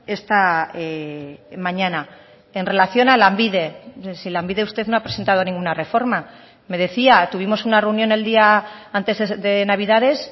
esta mañana en relación a lanbide si lanbide usted no ha presentado ninguna reforma me decía tuvimos una reunión el día antes de navidades